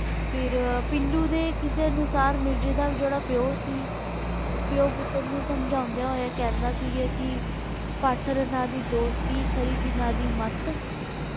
ਫਿਰ ਪੀਲੂ ਦੇ ਕਿੱਸੇ ਅਨੁਸਾਰ ਮਿਰਜ਼ੇ ਦਾ ਜਿਹੜਾ ਪਿਓ ਸੀ ਪਿਓ ਪੁੱਤਰ ਨੂੰ ਸਮਝਾਉਂਦਿਆਂ ਹੋਇਆਂ ਕਹਿੰਦਾ ਸੀ ਕਿ ਦੀ ਦੋਸਤੀ ਖਰੀ ਜਿਨ੍ਹਾਂ ਦੀ ਮੱਤ।